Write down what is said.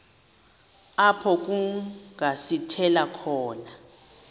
apho kungasithela khona